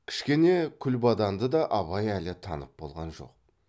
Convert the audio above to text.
кішкене күлбаданды да абай әлі танып болған жоқ